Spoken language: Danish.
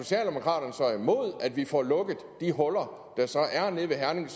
imod at vi får lukket de huller der så er nede ved herning